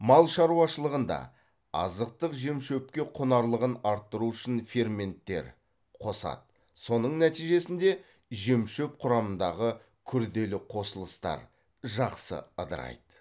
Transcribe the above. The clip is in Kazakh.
мал шаруашылығында азықтық жемшөпке құнарлығын арттыру үшін ферменттер қосады соның нәтижесінде жемшөп құрамындағы күрделі қосылыстар жақсы ыдырайды